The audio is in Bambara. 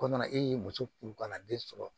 Ko na e ye muso furu ka na den sɔrɔ